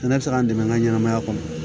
Ne bɛ se k'an dɛmɛ n ka ɲɛnamaya kɔnɔ